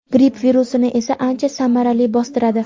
gripp virusini esa ancha samarali "bostiradi".